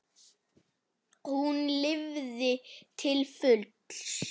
Hún lifði til fulls.